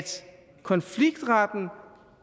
konfliktretten